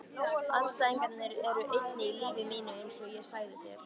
Andstæðurnar eru eining í lífi mínu einsog ég sagði þér.